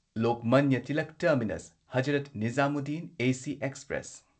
Lokmanya Tilak terminus Hazrat Nizamuddin AC express